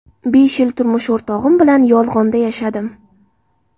Besh yil turmush o‘rtog‘im bilan yolg‘onda yashadim.